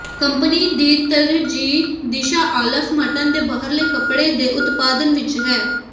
company ਦੀ ਤਰਜੀਹ ਦਿਸ਼ਾ ਆਲਫ ਮਟਨ ਦੇ ਬਾਹਰਲੇ ਕੱਪੜੇ ਦੇ ਉਤਪਾਦਨ ਵਿੱਚ ਹੈ